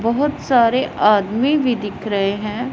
बहुत सारे आदमी भी दिख रहे हैं।